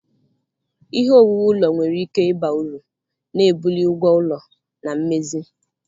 Ihe owuwu ụlọ nwere ike ịba uru, na-ebuli ụgwọ ụlọ na mmezi.